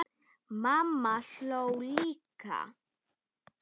Mamma hló líka.